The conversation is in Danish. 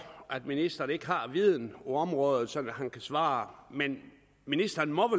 at ministeren ikke har viden på området så han kan svare men ministeren må